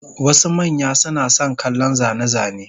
Wasu manya suna son kallon zane-zane,